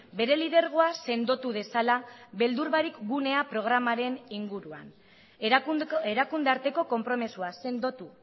bere lidergoa sendotu dezala beldur barik gunea programaren inguruan erakunde arteko konpromisoa sendotu